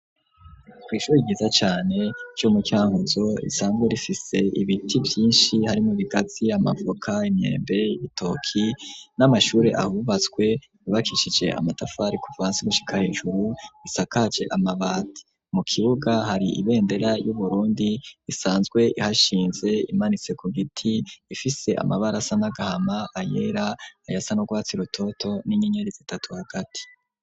Kw'ishure ryiza cane ryo mu cankuzo isanzwe rifise ibiti byinshi harimo bigazi, amavoka, imyembe, ibitoki n'amashuri ahubatswe ribakishije amatafari kuvansi gushika hejuru isakaje amabati mu kibuga hari ibendera y'uburundi isanzwe ihashinze imanitse ku giti ifise amabarasa n'agahama, ayera, ayasa n'urwatsi rototo, n'inyenyeriz itatu hagati.